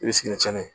I bɛ sigi ni celu ye